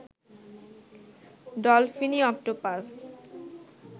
ডলফিনি octopus